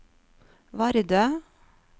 Vardø